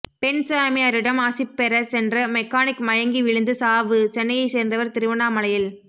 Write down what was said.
பெண் சாமியாரிடம் ஆசி பெற சென்ற மெக்கானிக் மயங்கி விழுந்து சாவு சென்னையை சேர்ந்தவர் திருவண்ணாமலையில்